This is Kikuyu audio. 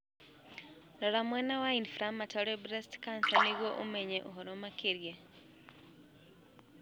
Rora mwena wa inflammatory breast cancer nĩguo ũmenye ũhoro makĩria.